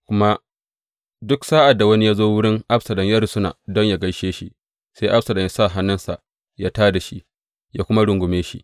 Kuma duk sa’ad da wani ya zo wurin Absalom ya rusuna don yă gaishe shi, sai Absalom yă sa hannunsa yă ta da shi, yă kuma rungume shi.